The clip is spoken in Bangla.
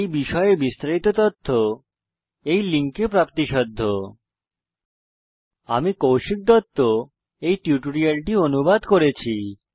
এই বিষয় বিস্তারিত তথ্য এই লিঙ্কে প্রাপ্তিসাধ্য spoken hyphen tutorial dot org slash ন্মেইক্ট হাইফেন ইন্ট্রো আমি কৌশিক দত্ত এই টিউটোরিয়ালটি অনুবাদ করেছি